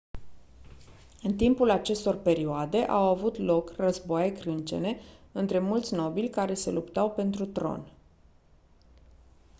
în timpul acestor perioade au avut loc războaie crâncene între mulți nobili care se luptau pentru tron